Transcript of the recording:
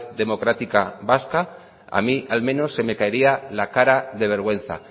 democrática vasca a mí al menos se me caería la cara de vergüenza